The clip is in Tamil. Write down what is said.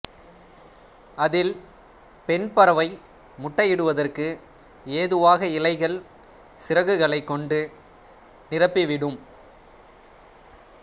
அதில் பெண் பறவை முட்டை இடுவதற்கு ஏதுவாக இலைகள் சிறகுகளைக் கொண்டு நிரப்பிவிடும்